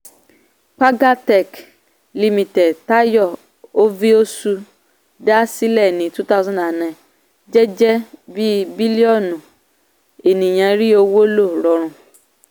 pagatech limited tayo oviosu dá sílẹ̀ ní two thousand nine jẹ́ jẹ́ kí bílíọ̀nù ènìyàn rí owó lò rọrùn.